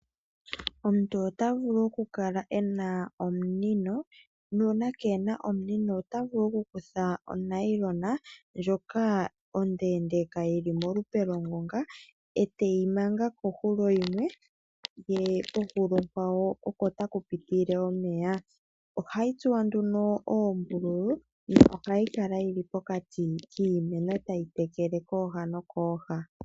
Omuntu ota vulu okukala e na omunino nuuna kee na omunino ota vulu okukutha onayilona ndjoka ondeendeeka yi li molupe longonga e teyi manga kohulo yimwe ye kohulo onkwawo oko taku pitile omeya. Ohayi tsuwa nduno oombulu nohayi kala yi li pokati kiimeno tayi tekele kooha nokooha.